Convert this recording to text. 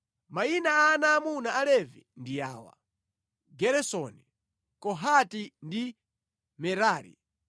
Mayina a ana aamuna a Levi ndi awa: Geresoni, Kohati ndi Merari.